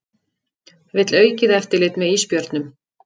Vill aukið eftirlit með ísbjörnum